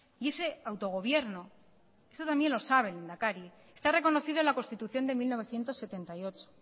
y ese autogobierno y eso también lo sabe el lehendakari está reconocido en la constitución de mil novecientos setenta y ocho